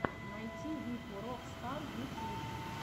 найти вику рок стар ютюб